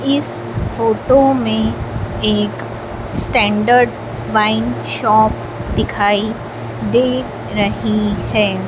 इस फोटो में एक स्टैंडर्ड वाइन शॉप दिखाई दे रही है।